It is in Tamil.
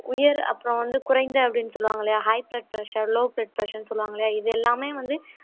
உயர் அப்புறம் வந்து குறைந்த அப்படின்னு சொல்லுவாங்க இல்லையா high blood pressure, low blood pressure ன்னு சொல்லுவாங்க இல்லையா இது எல்லாமே வந்து